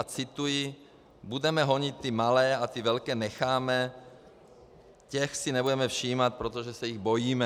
A cituji: "Budeme honit ty malé a ty velké necháme, těch si nebudeme všímat, protože se jich bojíme."